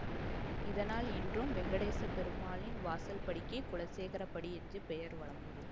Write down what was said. இதனால் இன்றும் வெங்கடேசப் பெருமாளின் வாசற்படிக்கு குலசேகரப்படி என்ற பெயர் வழங்குகிறது